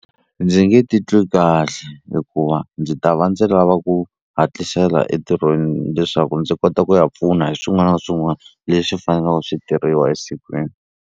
Ndzi nge titwi kahle hikuva ndzi ta va ndzi lava ku hatlisela entirhweni leswaku ndzi kota ku ya pfuna hi swin'wana na swin'wana leswi faneleku swi tirhiwa esikwini.